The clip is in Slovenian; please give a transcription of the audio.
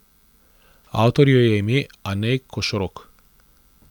Avtorju je ime Anej Košorok.